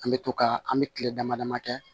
An bɛ to ka an bɛ kile dama damani kɛ